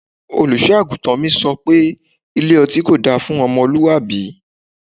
Olùṣọ́-àgùntàn mi sọ pé Ilé ọtí kò da fún ọmọlúwàbí.